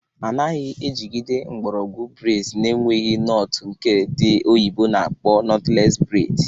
Anaghị ejigide mgbọrọgwụ breds n'enweghị nọtụ nke ndị oyibo na-akpọ nọtles bred